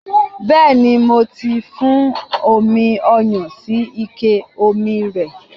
Bẹẹni, mó ti fún omi ọyàn sí ike omi rẹ̀.